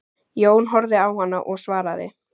Jón horfði á hana og svaraði